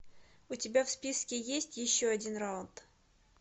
у тебя в списке есть еще один раунд